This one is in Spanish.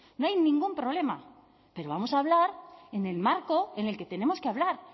no hay ningún problema pero vamos a hablar en el marco en el que tenemos que hablar